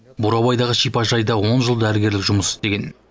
бурабайдағы шипажайда он жыл дәрігерлік жұмыс істеген